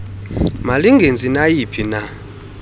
malingenzi nayi phina